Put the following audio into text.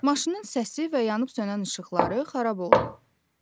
Maşının səsi və yanıb-sönən işıqları xarab oldu.